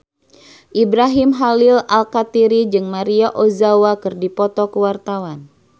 Ibrahim Khalil Alkatiri jeung Maria Ozawa keur dipoto ku wartawan